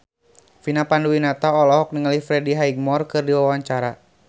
Vina Panduwinata olohok ningali Freddie Highmore keur diwawancara